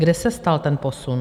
Kde se stal ten posun?